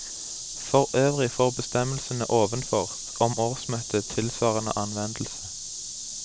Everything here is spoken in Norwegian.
For øvrig får bestemmelsene ovenfor om årsmøtet tilsvarende anvendelse.